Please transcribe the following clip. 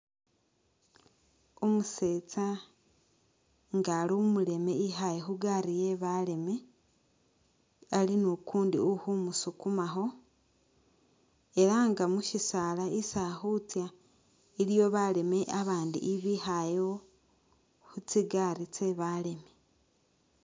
Umusetsa nga ali umuleme ikhaye khu gari ye baleme ali nukundi ukhumusukumakho ela nga mushisala isi akhutsa iliwo baleme abandi ibikhalewo khu tsigari tse baleme.